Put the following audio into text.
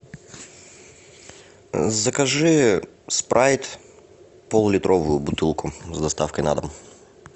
закажи спрайт пол литровую бутылку с доставкой на дом